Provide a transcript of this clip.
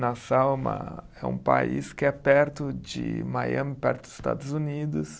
Nassau é uma, é país que é perto de Miami, perto dos Estados Unidos.